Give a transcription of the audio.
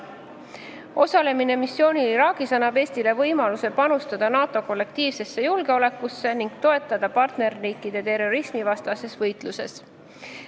Osalemine missioonil Iraagis annab Eestile võimaluse panustada NATO kollektiivsesse julgeolekusse ning toetada partnerriike terrorismivastases võitluses.